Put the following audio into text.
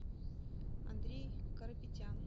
андрей карапетян